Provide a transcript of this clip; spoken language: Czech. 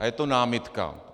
A je to námitka.